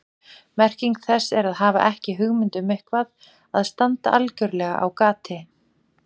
Merking þess er að hafa ekki hugmynd um eitthvað, að standa algjörlega á gati.